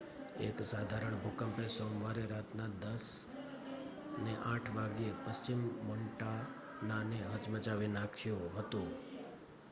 એક સાધારણ ભૂકંપે સોમવારે રાતના 10:08 વાગ્યે પશ્ચિમ મોન્ટાનાને હચમચાવી નાખ્યું હતું